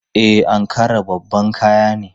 E, Ankara babban kaya ne.